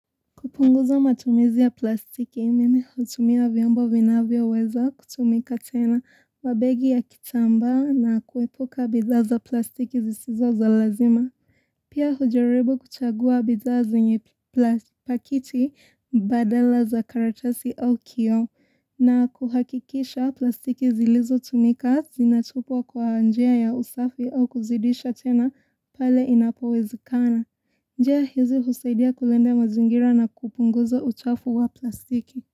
Kupunguza matumizi ya plastiki, mimi hutumia vyombo vinavyoweza kutumika tena wa begi ya kitambaa na kuepuka bidhaa za plastiki zisizo za lazima. Pia hujaribu kuchagua bidhaa zenye plastiki badala za karatasi au kioo na kuhakikisha plastiki zilizotumika zinatupwa kwa njia ya usafi au kuzidisha tena pale inapowezekana. Njia hizi husaidia kulinda mazingira na kupunguza uchafu wa plastiki.